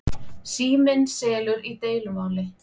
Síminn semur í deilumáli